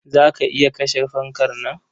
Za ka iya kashe fankar nan?